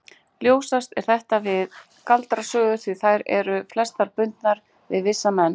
Ljósast er þetta við galdrasögur því þær eru flestar bundnar við vissa menn.